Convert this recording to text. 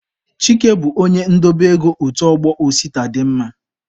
Chike bụ onye ndobe ego otu ọgbọ Osita dị mma.